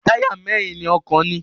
Táyà mẹ́rin ni ọkọ̀ ní.